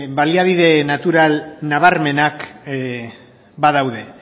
baliabide natural nabarmenak badaude